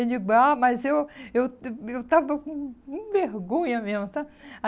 Eu digo, ah, mas eu eu eu estava com hum vergonha mesmo, tá?